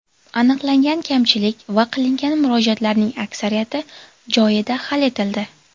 Aniqlangan kamchilik va qilingan murojaatlarning aksariyati joyida hal etildi.